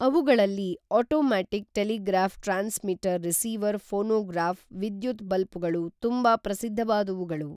ಅವುಗಳಲ್ಲಿ automatic telegraph transmitter receiver phonograph ವಿದ್ಯುತ್ ಬಲ್ಪುಗಳು ತುಂಬಾ ಪ್ರಸಿದ್ಧವಾದವುಗಳು